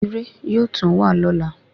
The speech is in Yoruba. Irẹ̀ yóò tún wa lóla